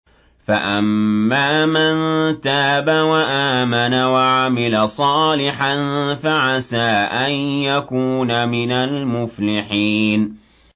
فَأَمَّا مَن تَابَ وَآمَنَ وَعَمِلَ صَالِحًا فَعَسَىٰ أَن يَكُونَ مِنَ الْمُفْلِحِينَ